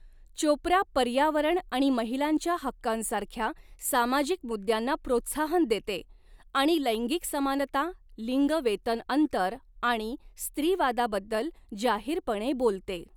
चोप्रा पर्यावरणआणि महिलांच्या हक्कांसारख्या सामाजिक मुद्द्यांना प्रोत्साहन देते आणि लैंगिक समानता, लिंग वेतन अंतर आणि स्त्रीवादाबद्दल जाहीरपणे बोलते.